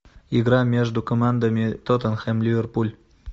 игра между командами тоттенхэм ливерпуль